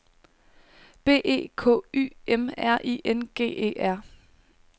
B E K Y M R I N G E R